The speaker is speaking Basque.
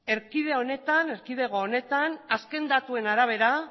erkidego honetan azken datuen arabera